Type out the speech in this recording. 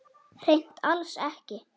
Hreint alls ekki.